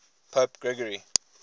pope gregory